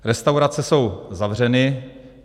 Restaurace jsou zavřeny.